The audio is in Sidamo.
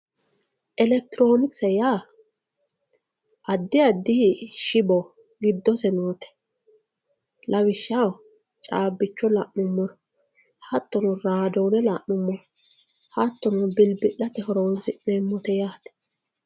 elekitiroonikise yaa addi addi shiwo giddose noote lawishshaho caabbicho la'nummoro hattono raadoone la'nummoro hattono bilbi'late horonsi'neemmote yaate.